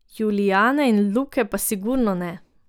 Julijane in Luke pa sigurno ne.